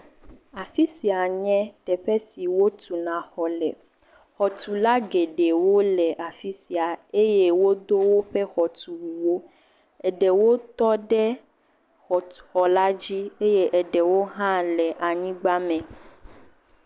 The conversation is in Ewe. Afisia nye teƒe siwo tuna exɔ le. Xɔtula geɖewo le afisia eye wodo woƒe xɔtuwuwo, eɖewo tɔ ɖe xɔtɔxɔ la dzi eye eɖewo tɔ ɖe anyigba me.